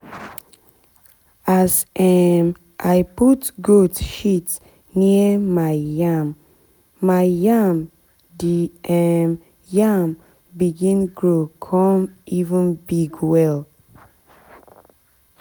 as um i put goat shit near my yam my yam the um yam begin grow cum even big well.